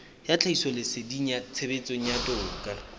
ya tlhahisoleseding tshebetsong ya toka